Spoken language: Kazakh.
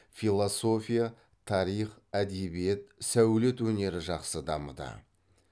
философия тарих әдебиет сәулет өнері жақсы дамыды